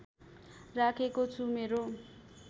राखेको छु मेरो